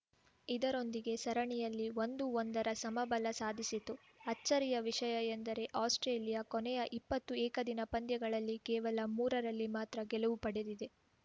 ಇದರೊಂದಿಗೆ ಸರಣಿಯಲ್ಲಿ ಒಂದುಒಂದರ ಸಮಬಲ ಸಾಧಿಸಿತು ಅಚ್ಚರಿಯ ವಿಷಯ ಎಂದರೆ ಆಸ್ಪ್ರೇಲಿಯಾ ಕೊನೆಯ ಇಪ್ಪತ್ತು ಏಕದಿನ ಪಂದ್ಯಗಳಲ್ಲಿ ಕೇವಲ ಮೂರರಲ್ಲಿ ಮಾತ್ರ ಗೆಲುವು ಪಡೆದಿದೆ